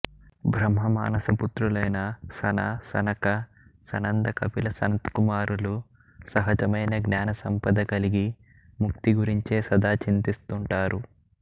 బ్రహ్మమానస పుత్రులైన సన సనక సనంద కపిల సనత్కుమారులు సహజమైన జ్ఞానసంపద కలిగి ముక్తి గురించే సదా చింతిస్తుంటారు